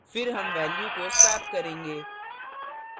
फिर हम values को swap करेंगे